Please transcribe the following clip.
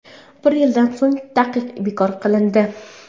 Bir yildan so‘ng taqiq bekor qilindi.